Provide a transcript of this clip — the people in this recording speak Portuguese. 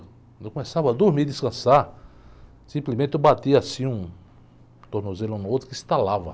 Quando eu começava a dormir, descansar, simplesmente eu batia assim um tornozelo um no outro que estalava.